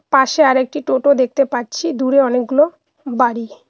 পাশে আরেকটি টোটো দেখতে পাচ্ছি দূরে অনেকগুলো বাড়ি।